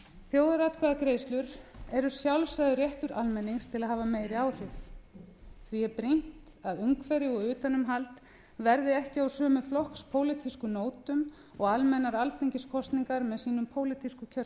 þjóðaratkvæðagreiðslur eru sjálfsagður réttur almennings til að hafa meiri áhrif því er brýnt að umhverfi og utanumhald verði ekki á sömu flokkspólitísku nótum og almennar alþingiskosningar með sínum pólitísku